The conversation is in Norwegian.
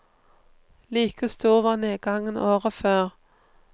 Like stor var nedgangen året før.